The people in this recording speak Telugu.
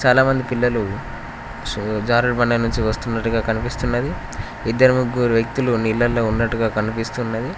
చాలామంది పిల్లలు సో జారుడు బండి వస్తున్నట్టు కనిపిస్తున్నది ఇద్దరు ముగ్గురు వ్యక్తులు నీళ్లలో ఉన్నట్టుగా కనిపిస్తున్నది.